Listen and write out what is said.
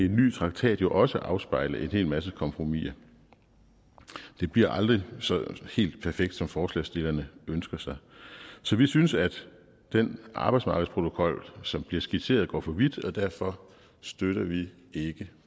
en ny traktat jo også afspejle en hel masse kompromiser det bliver aldrig så helt perfekt som forslagsstillerne ønsker sig så vi synes at den arbejdsmarkedsprotokol som bliver skitseret går for vidt og derfor støtter vi ikke